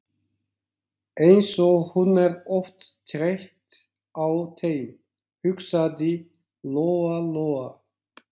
Eins og hún er oft þreytt á þeim, hugsaði Lóa Lóa.